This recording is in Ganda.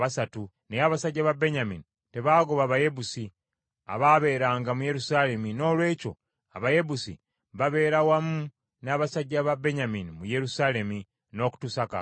Naye abasajja ba Benyamini tebaagoba Bayebusi abaabeeranga mu Yerusaalemi noolwekyo Abayebusi babeera wamu n’abasajja ba Benyamini mu Yerusaalemi n’okutuusa kaakano.